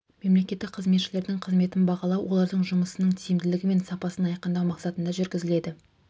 мемлекеттік қызметшілердің қызметін бағалау олардың жұмысының тиімділігі мен сапасын айқындау мақсатында жүргізіледі